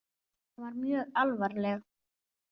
Hún var mjög alvarleg.